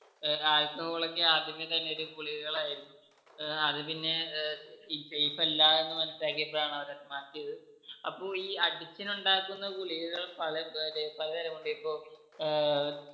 ഏർ alcohol ഒക്കെ ആദ്യമേ തന്നെ ഒരു ഗുളികകൾ ആയിരുന്നു ഏർ അത് പിന്നെ ഏർ ഈ safe അല്ല എന്ന് മനസ്സിലാക്കിയപ്പോഴാണ് അവര് അത് മാറ്റിയത് അപ്പൊ ഈ addition ഉണ്ടാക്കുന്ന ഗുളികകൾ പലേ മറ്റേ പലതരം ഉണ്ട് ഇപ്പൊ ഏർ